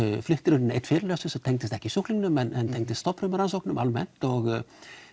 flutti reyndar einn fyrirlestur sem tengdist ekki sjúklingnum en tengdist stofnfrumurannsóknum almennt og